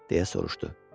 Deyə soruşdu.